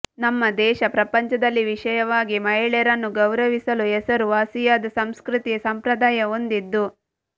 ನಮ್ಮ ದೇಶ ಪ್ರಪಂಚದಲ್ಲಿ ವಿಶೇಷವಾಗಿ ಮಹಿಳೆಯರನ್ನು ಗೌರವಿಸಲು ಹೆಸರುವಾಸಿಯಾದ ಸಂಸ್ಕೃತಿ ಸಂಪ್ರದಾಯ ಹೊಂದಿದ್ದು